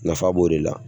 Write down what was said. Nafa b'o de la